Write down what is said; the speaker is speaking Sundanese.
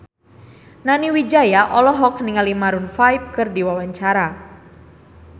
Nani Wijaya olohok ningali Maroon 5 keur diwawancara